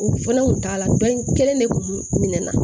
U fana kun t'a la dɔni kelen de kun b'u minɛ na